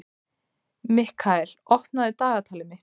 Mikkael, opnaðu dagatalið mitt.